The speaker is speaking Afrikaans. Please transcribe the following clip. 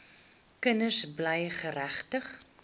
kinders bly geregtig